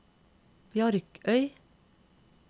Bjarkøy